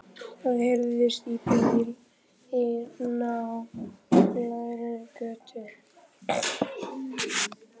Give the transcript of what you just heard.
Það heyrist í bíl í nálægri götu.